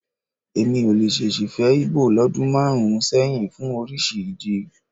Èmi ò lè ṣèṣì fẹ́ Íbò lọ́dún márùn-ún sẹ́yìn fún oríṣi ìdí.